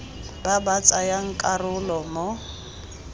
ba ba tsayang karolo mo